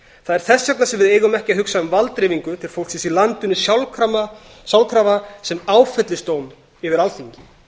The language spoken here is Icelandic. þess vegna sem við eigum ekki að hugsa um valddreifingu til fólksins í landinu sjálfkrafa sem áfellisdóm yfir alþingi